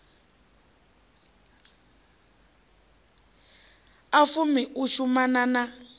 a fumi u shumana na